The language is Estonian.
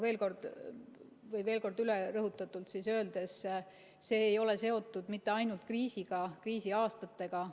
Veel kord rõhutatult üle öeldes: see ei ole seotud mitte ainult kriisiga, kriisiaastatega.